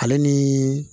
Ale ni